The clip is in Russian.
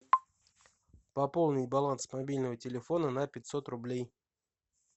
пополнить баланс мобильного телефона на пятьсот рублей